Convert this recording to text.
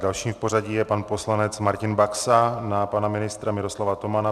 Dalším v pořadí je pan poslanec Martin Baxa na pana ministra Miroslava Tomana.